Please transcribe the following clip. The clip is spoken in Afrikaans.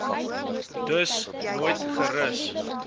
dus nooit gerus